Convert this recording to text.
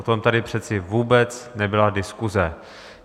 O tom tady přece vůbec nebyla diskuse.